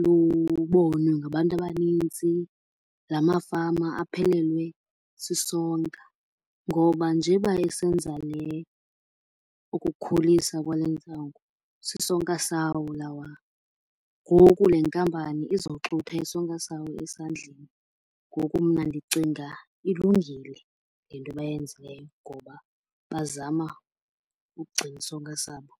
lubonwe ngabantu abanintsi, la mafama aphelelwe sisonka. Ngoba njeba esenza le ukukhulisa kwale ntsango sisonka sawo lawa. Ngoku le nkampani izoxutha isonka sawo esandleni. Ngoku mna ndicinga ilungile le nto bayenzileyo ngoba bazama ukugcina isonka sabo.